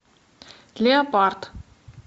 леопард